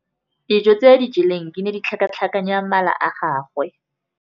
Dijô tse a di jeleng di ne di tlhakatlhakanya mala a gagwe.